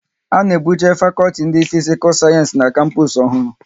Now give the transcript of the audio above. A na ebuje fakọlti ndị Fisikal Sayensi n'kapus ọhụrụ